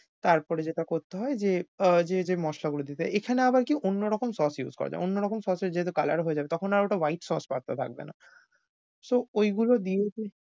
তারপরে যেটা করতে হয় যে আহ যে যে মশলাগুলো দিতে হয়। এখানে আবার কি অন্যরকম sauce use করা যায়। অন্যরকম sauce এর যেহেতু colour ও হয়ে যাবে তখন আর ওটা white sauce pasta থাকবে না। so ঐগুলো দিয়েই তুই